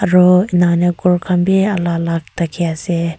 aro inika hoi na ghor khan bi alag alag thaki ase.